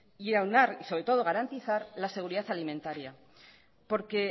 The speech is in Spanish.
y aunar sobre todo garantizar la seguridad alimentaria